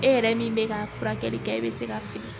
E yɛrɛ min bɛ ka furakɛli kɛ e bɛ se ka fili